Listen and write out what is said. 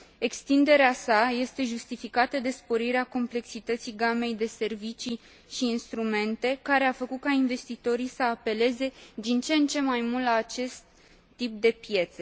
Extinderea sa este justificată de sporirea complexității gamei de servicii și instrumente care a făcut ca investitorii să apeleze din ce în ce mai mult la acest tip de piețe.